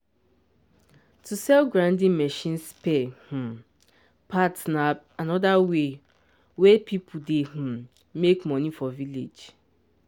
to sell grinding machine spare um parts na another way wey people dey um make money for village.